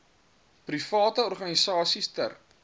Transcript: private organisasies ter